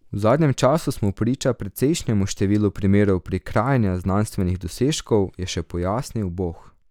V zadnjem času smo priča precejšnjemu številu primerov prikrajanja znanstvenih dosežkov, je še pojasnil Boh.